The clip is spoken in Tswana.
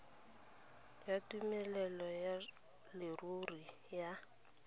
ya tumelelo ya leruri ya